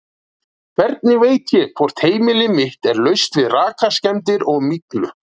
Hvernig veit ég hvort heimili mitt er laust við rakaskemmdir og myglu?